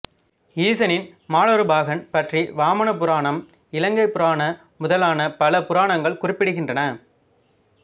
ஈசனின் மாலொருபாகன் பற்றி வாமனபுராணம் இலிங்கபுராண முதலான பல புராணங்கள் குறிப்பிடுகின்றன